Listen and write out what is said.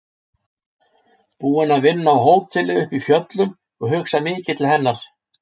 Búin að vinna á hóteli uppi í fjöllum og hugsa mikið til hennar.